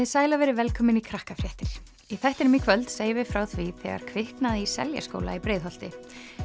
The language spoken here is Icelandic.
sæl og verið velkomin í í þættinum í kvöld segjum við frá því þegar kviknaði í Seljaskóla í Breiðholti